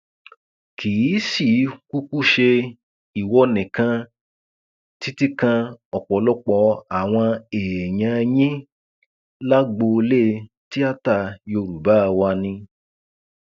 kì í sì í kúkú ṣe ìwọ nìkan títí kan ọpọlọpọ àwọn èèyàn yín lágboolé tíáta yorùbá wá ni